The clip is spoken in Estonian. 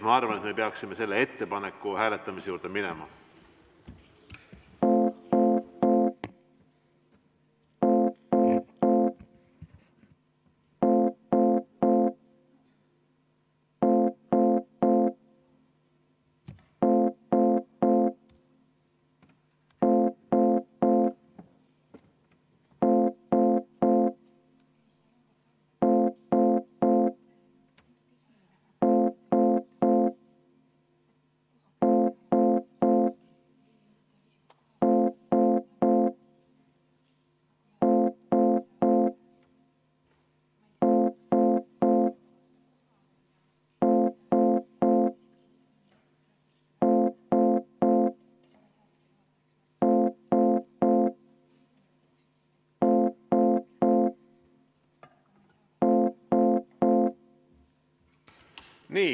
Ma arvan, et me peaksime selle ettepaneku hääletamise juurde minema.